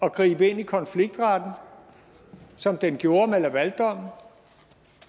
at gribe ind i konfliktretten som den gjorde med lavaldommen